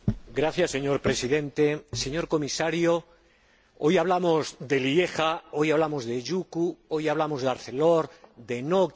Señor Presidente, señor Comisario, hoy hablamos de Lieja, hoy hablamos de Jucu, hoy hablamos de Arcelor, de Nokia...